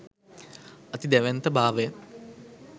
අති දැවැන්ත භාවය